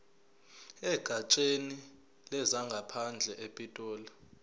egatsheni lezangaphandle epitoli